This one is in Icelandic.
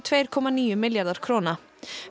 tvö komma níu milljarða króna